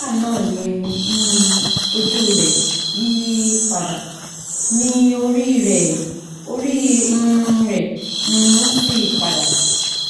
nigbana ni um oju rẹ yiyi pada ni ori rẹ ori um re um si pada